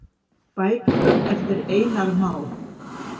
Bækur eftir Einar Má.